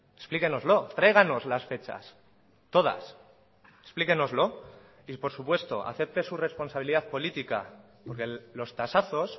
explíquenoslo tráiganos las fechas todas explíquenoslo y por supuesto acepte su responsabilidad política porque los tasazos